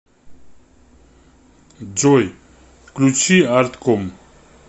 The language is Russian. джой включи артком